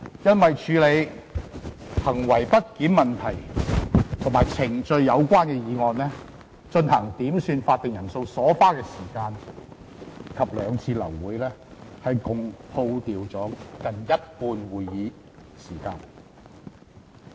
因為處理行為不檢問題和與程序有關的議案，以及進行點算法定人數所花的時間及兩次流會，共虛耗近一半的會議時間。